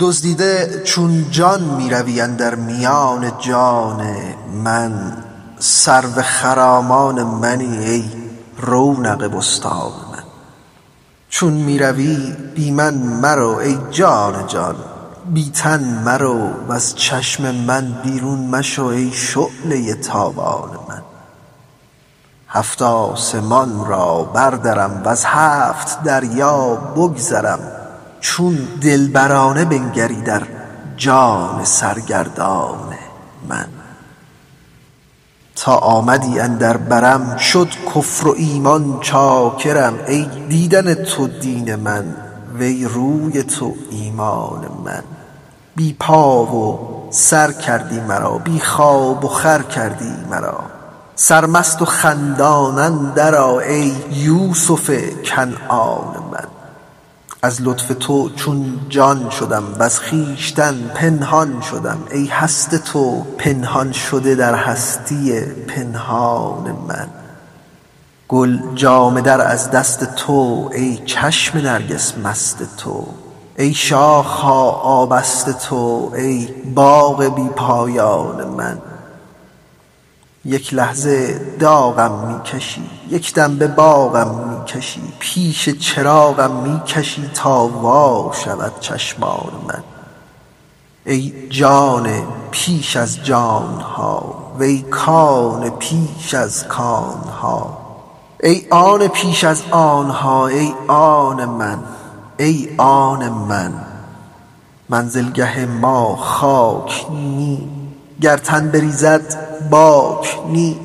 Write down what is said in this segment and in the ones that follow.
دزدیده چون جان می روی اندر میان جان من سرو خرامان منی ای رونق بستان من چون می روی بی من مرو ای جان جان بی تن مرو وز چشم من بیرون مشو ای شعله ی تابان من هفت آسمان را بردرم وز هفت دریا بگذرم چون دلبرانه بنگری در جان سرگردان من تا آمدی اندر برم شد کفر و ایمان چاکرم ای دیدن تو دین من وی روی تو ایمان من بی پا و سر کردی مرا بی خواب وخور کردی مرا سرمست و خندان اندرآ ای یوسف کنعان من از لطف تو چون جان شدم وز خویشتن پنهان شدم ای هست تو پنهان شده در هستی پنهان من گل جامه در از دست تو ای چشم نرگس مست تو ای شاخ ها آبست تو ای باغ بی پایان من یک لحظه داغم می کشی یک دم به باغم می کشی پیش چراغم می کشی تا وا شود چشمان من ای جان پیش از جان ها وی کان پیش از کان ها ای آن پیش از آن ها ای آن من ای آن من منزلگه ما خاک نی گر تن بریزد باک نی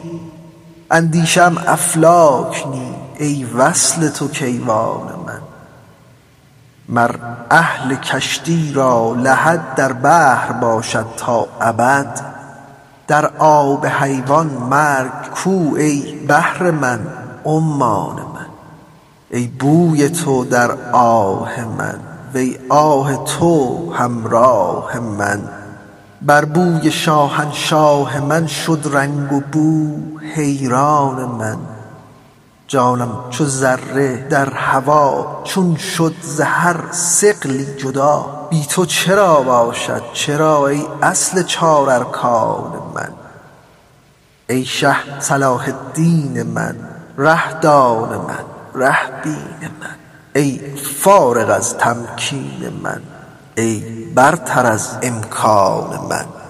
اندیشه ام افلاک نی ای وصل تو کیوان من مر اهل کشتی را لحد در بحر باشد تا ابد در آب حیوان مرگ کو ای بحر من عمان من ای بوی تو در آه من وی آه تو همراه من بر بوی شاهنشاه من شد رنگ وبو حیران من جانم چو ذره در هوا چون شد ز هر ثقلی جدا بی تو چرا باشد چرا ای اصل چار ارکان من ای شه صلاح الدین من ره دان من ره بین من ای فارغ از تمکین من ای برتر از امکان من